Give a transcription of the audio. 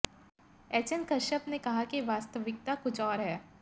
HN Kashyap ने कहा कि वास्तविकता कुछ और है